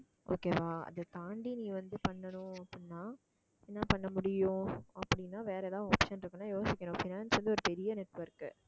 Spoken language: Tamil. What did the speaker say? okay வா அதைத் தாண்டி நீ வந்து பண்ணணும் அப்படின்னா என்ன பண்ண முடியும் அப்படின்னா வேற ஏதாவது option இருக்குன்னா யோசிக்கணும் finance வந்து ஒரு பெரிய network